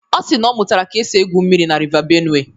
Ọ si na ọ mụtara ka e si egwu mmiri na River Benue.